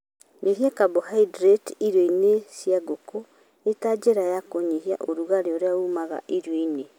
Nyihia kambohaindĩrĩti irio-inĩ cia ngũkũ ĩ ta njĩra ya kũnyihia ũrugarĩ ũrĩa uumaga irio-inĩ.